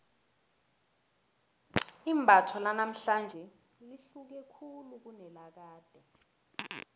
imbatho lanamhlanje lihluke khulu kunelakade